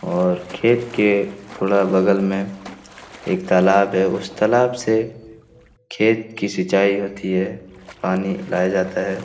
और खेत के थोड़ा बगल में के एक तालाब है उस तालाब से खेत की सिंचाई होती है पानी लाया जाता है।